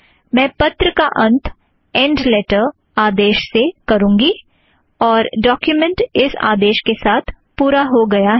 मैं पत्र का अंत एंड़ लेटर आदेश से करूँगी और ड़ॉक्यूमेंट इस आदेश के साथ पूरा हो गया है